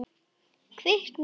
Kviknað í.